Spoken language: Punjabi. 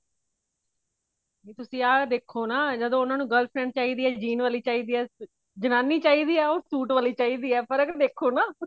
ਵੀ ਤੁਸੀਂ ਆਹ ਦੇਖੋ ਨਾ ਜਦੋਂ ਉਹਨਾ ਨੂੰ girl friend ਚਾਹੀਦੀ ਹੈ jean ਵਾਲੀ ਚਾਹੀਦੀ ਹੈ ਜਨਾਨੀ ਚਾਹੀਦੀ ਹੈ ਉਹ ਸੂਟ ਵਾਲੀ ਚਾਹੀਦੀ ਹੈ ਫਰਕ ਦੇਖੋ ਨਾ